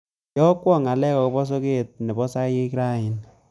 Iyokwon ngalek agoba soget nebo hisaek raini